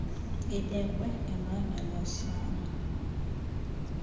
ibekwe emlonyeni wosana